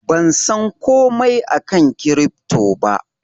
Ban san komai akan kirifto ba.